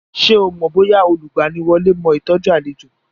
Ṣé o mọ̀ bóyá olùgbaniwọlé mó ìtọ́jú àlejò.